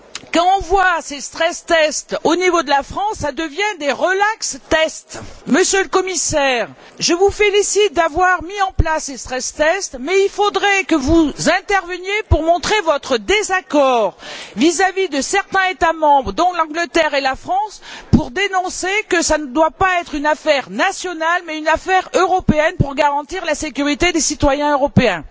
Quand on voit ces stress tests au niveau de la France, ça devient des relax tests. Monsieur le Commissaire, je vous félicite d'avoir mis en place ces stress tests mais il faudrait que vous interveniez pour montrer votre désaccord vis à vis de certains États membres, dont l'Angleterre et la France, pour affirmer clairement que ce ne doit pas être une affaire nationale, mais une affaire européenne, pour garantir la sécurité des citoyens européens.